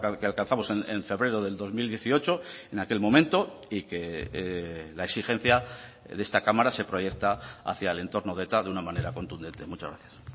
que alcanzamos en febrero del dos mil dieciocho en aquel momento y que la exigencia de esta cámara se proyecta hacia el entorno de eta de una manera contundente muchas gracias